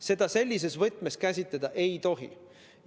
Seda sellises võtmes käsitleda ei tohi.